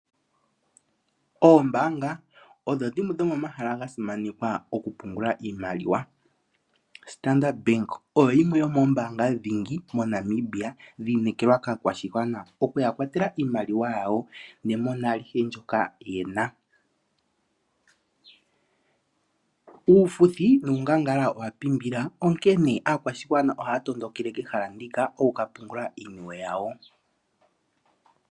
Oombanga odho dhimwe dhomomahala gasimanekwa oku pungula iimaliwa. Standard bank oyo yimwe yomo ombanga dhigi yi inekelwa ka kwashigwana okuya kwatela iimaliwa yawo ne mona alihe ndjoka yena. Uufuthi nuungangala owa pimbila onkene aakwashigwana oha tondokele kehala ndika okuka pungula iiniwe yawo.